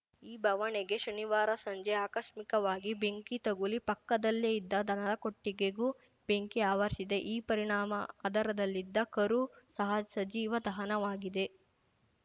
ಈ ಬವಣೆಗೆ ಶನಿವಾರ ಸಂಜೆ ಆಕಸ್ಮಿಕವಾಗಿ ಬೆಂಕಿ ತಗುಲಿ ಪಕ್ಕದಲ್ಲೇ ಇದ್ದ ದನದ ಕೊಟ್ಟಿಗೆಗೂ ಬೆಂಕಿ ಆವರಿಸಿದೆ ಈ ಪರಿಣಾಮ ಅದರದಲ್ಲಿದ್ದ ಕರು ಸಹ ಸಜೀವ ದಹನವಾಗಿದೆ